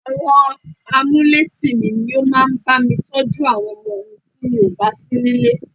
Àwọn amuletìmí ní wọn máa ń bá mi tọ́jú àwọn ọmọ mi tí mò bà sí nílé.